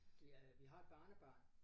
Det øh vi har et barnebarn